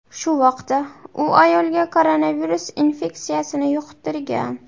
Shu vaqtda u ayolga koronavirus infeksiyasini yuqtirgan.